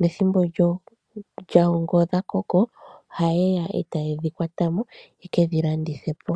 nethimbo lyawo ngele odha koko ,ohaye dhi kwata mo etaye kedhi landitha po.